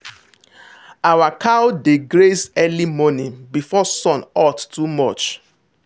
our cow dey graze early morning before sun hot too much.